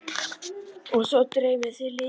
Og svo dreymir þig lifur!